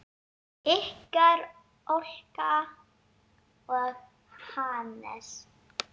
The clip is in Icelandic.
Ykkar Olga og Hannes.